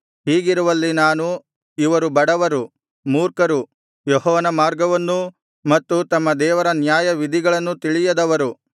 ಹೀಗಿರುವಲ್ಲಿ ನಾನು ಇವರು ಬಡವರು ಮೂರ್ಖರು ಯೆಹೋವನ ಮಾರ್ಗವನ್ನೂ ಮತ್ತು ತಮ್ಮ ದೇವರ ನ್ಯಾಯವಿಧಿಗಳನ್ನೂ ತಿಳಿಯದವರು